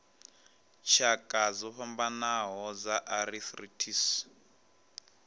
tshakha dzo fhambanaho dza arthritis